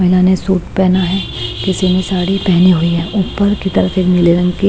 महिला ने सूट पहना है किसी ने साड़ी पहनी हुई है ऊपर की तरफ एक नीले रंग की--